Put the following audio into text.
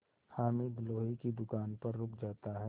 हामिद लोहे की दुकान पर रुक जाता है